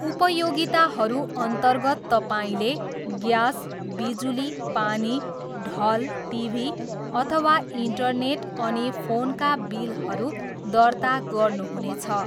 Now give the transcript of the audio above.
उपयोगिताहरू अन्तर्गत तपाईँले ग्यास, बिजुली, पानी, ढल, टिभी अथवा इन्टरनेट, अनि फोनका बिलहरू दर्ता गर्नुहुनेछ।